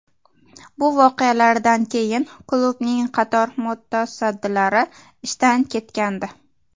Bu voqealardan keyin klubning qator mutasaddilari ishdan ketgandi.